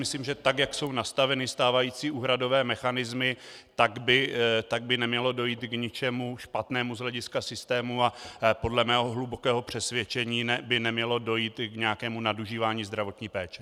Myslím, že tak jak jsou nastaveny stávající úhradové mechanismy, tak by nemělo dojít k ničemu špatnému z hlediska systému a podle mého hlubokého přesvědčení by nemělo dojít k nějakému nadužívání zdravotní péče.